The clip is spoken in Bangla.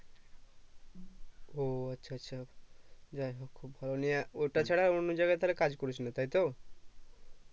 ও আচ্ছা আচ্ছা যাইহোক তাহলে ওটা ছাড়া আর অন্য জাগায় তাহলে কাজ করিস না তাই তো